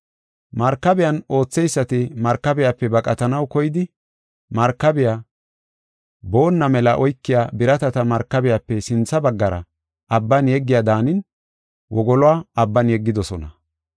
Markabiyan ootheysati markabiyape baqatanaw koyidi, markabey boonna mela oykiya biratata markabiyape sintha baggara abban yeggiya daanin wogoluwa abban yeggidosona.